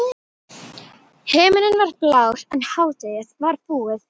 Himinninn var alveg blár en hádegið var búið.